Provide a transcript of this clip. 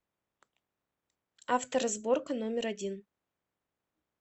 авторазборка номер один